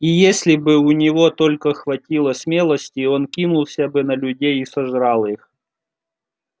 и если бы у него только хватило смелости он кинулся бы на людей и сожрал их